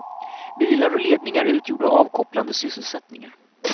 Bilar och ledningar utgjorde avkopplande sysselsättningar.